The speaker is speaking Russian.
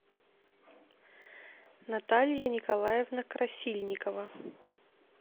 наталья николаевна красильникова